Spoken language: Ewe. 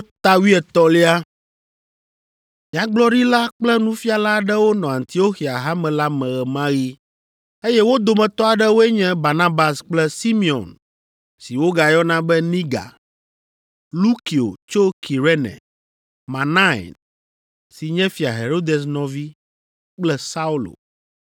Nyagblɔɖila kple nufiala aɖewo nɔ Antioxia Hame la me ɣe ma ɣi, eye wo dometɔ aɖewoe nye Barnabas kple Simeon si wogayɔna be Niga, Lukio tso Kirene, Manain (si nye Fia Herodes nɔvi) kple Saulo.